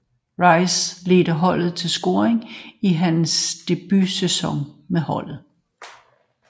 Rice ledte holdet i scoring i hans debutsæson med holdet